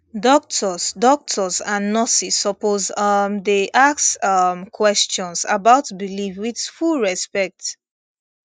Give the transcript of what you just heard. doctors doctors and nurses suppose um dey ask um questions about belief with full respect